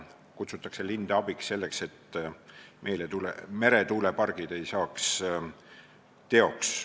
Kutsutakse linde abiks, selleks et meretuulepargid ei saaks teoks.